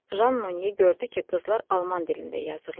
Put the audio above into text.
Jan Monye gördü ki, qızlar alman dilində yazırlar.